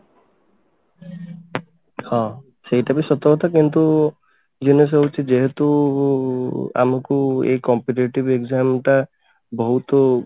ହଁ ସେଇଟା ବି ସତ କଥା କିନ୍ତୁ ହଉଛି ଯେହେତୁ ଆମକୁ ଏଇ competitive exam ଟା ବହୁତ